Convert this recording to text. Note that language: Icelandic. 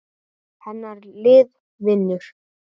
Hennar lið vinnur.